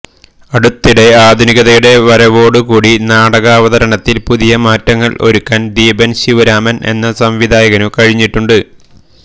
അടുത്തിടെ ആധുനികതയുടെ വരവോടു കൂടി നാടകാവതരണത്തിൽ പുതിയ മാറ്റങ്ങൾ ഒരുക്കാൻ ദീപൻ ശിവരാമൻ എന്ന സംവിധായകനു കഴിഞ്ഞിട്ടുണ്ട്